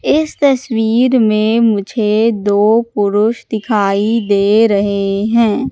इस तस्वीर में मुझे दो पुरुष दिखाई दे रहे हैं।